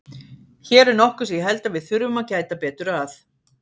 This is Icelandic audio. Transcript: Hér er nokkuð sem ég held að við þurfum að gæta betur að.